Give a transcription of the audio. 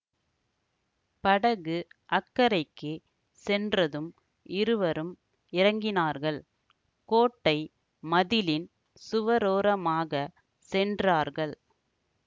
படகு அக்கரைக்குச் சென்றதும் இருவரும் இறங்கினார்கள் கோட்டை மதிலின் சுவரோரமாகச் சென்றார்கள்